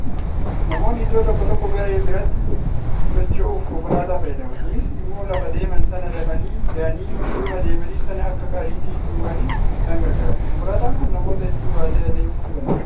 Namoonni iddoo tokkoo gara iddoo biraatti socho'uuf konkolaataa fayyadamu. kunis immoo lafa deeman sana dafanii ga'anii dhimma deemaniif sana akka ariitiin xumuraniif isaan argaara. Konkolaataan kun namoota hedduu baatee deemuu danda'a.